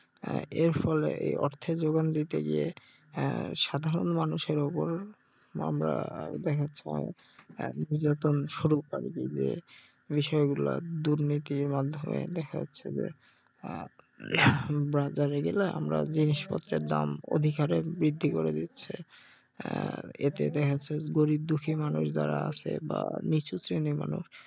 আহ বাজারে গেলে আমরা জিনিসপত্রের দাম অধিক হারে বৃদ্ধি করে দিচ্ছে আহ এতে দেখাচ্ছে গরিব দুঃখী মানুষ যারা আছে বা নিচু শ্রেণীর মানুষ